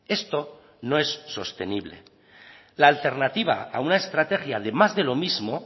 esto no es sostenible la alternativa a una estrategia de más de lo mismo